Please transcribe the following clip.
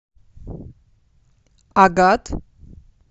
агат